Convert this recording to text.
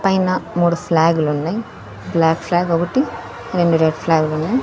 పైన మూడు ఫ్లాగులు ఉన్నాయి బ్లాక్ ఫ్లాగ్ ఒకటి రెండు రెడ్ ఫ్లాగులు ఉన్నాయి.